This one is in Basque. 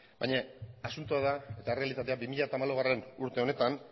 baina asuntoa da eta errealitatea bi mila hamalaugarrena urte honetan